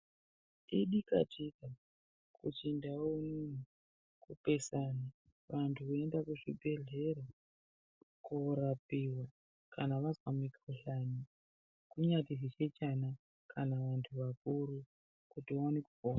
Idikatika kuchindau unono kupesana antu achienda kuzvibhedhlera. Korapiva kana vazwa mikuhlani kunyazi zvichechana kana vantu vakuru kuti vaone kupona.